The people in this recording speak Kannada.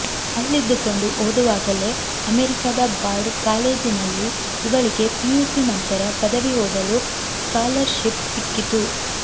ಅಲ್ಲಿದ್ದುಕೊಂಡು ಓದುವಾಗಲೇ ಅಮೆರಿಕದ ಬಾರ್ಡ್ ಕಾಲೇಜಿನಲ್ಲಿ ಇವಳಿಗೆ ಪಿಯುಸಿ ನಂತರ ಪದವಿ ಓದಲು ಸ್ಕಾಲರ್ಶಿಪ್ ಸಿಕ್ಕಿತು